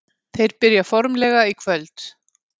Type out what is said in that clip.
Þeir byrja formlega í kvöld.